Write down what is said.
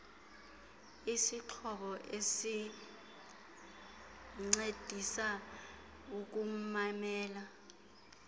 isixhobo esincedisa ukumamela